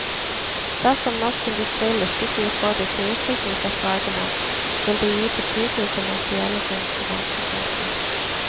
Dersom norsk industri lykkes i å få disse utviklingsoppdragene, vil det gi betydelige kommersielle konkurransefortrinn.